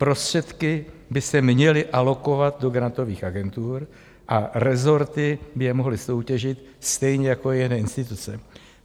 Prostředky by se měly alokovat do grantových agentur a resorty by je mohly soutěžit stejně jako jiné instituce.